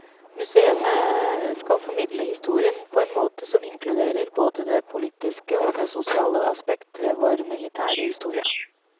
Museene skal formidle historien på en måte som inkluderer både det politiske og det sosiale aspekt ved vår militære historie.